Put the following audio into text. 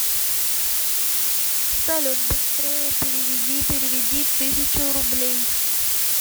салют быстрее переведи переведи тысячу рублей